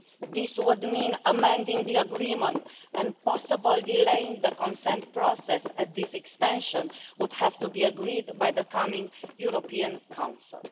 This would mean amending the Agreement and possibly delaying the consent process, as this extension would have to be agreed by the upcoming European Council.